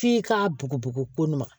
F'i k'a bugubugu ko nugu ma